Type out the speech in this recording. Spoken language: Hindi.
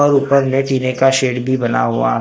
और ऊपर में टिने का शेड भी बना हुआ--